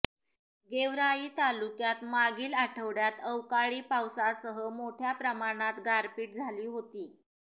गेवराई तालुक्यात मागील आठवड्यात अवकाळी पावसासह मोठ्या प्रमाणात गारपीट झाली होती